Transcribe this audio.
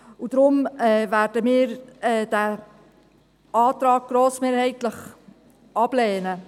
Deshalb werden wir diesen Antrag grossmehrheitlich ablehnen.